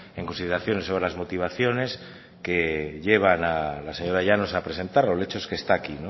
en consideración sobre las motivaciones que llevan a la señora llanos a presentar el hecho es que está aquí